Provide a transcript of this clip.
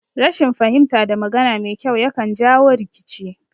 Rashin fahimta da magana mai kyau yakan jawo rikici